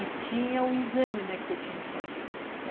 E tinha o exame, né, que você tinha que fazer.